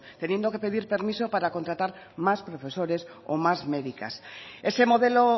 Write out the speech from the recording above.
teniendo que pedir permiso para contratar más profesores o más médicas ese modelo